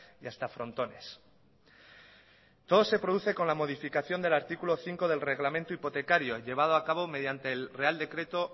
y hasta frontones todo se produce con la modificación del artículo cinco del reglamento hipotecario llevado a cabo mediante el real decreto